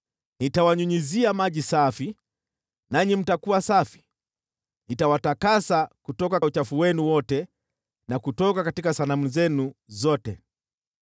Nitawanyunyizia maji safi, nanyi mtakuwa safi, nitawatakasa kutoka uchafu wenu wote na kutoka sanamu zenu zote.